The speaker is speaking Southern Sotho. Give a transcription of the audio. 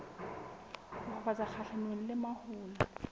ho fafatsa kgahlanong le mahola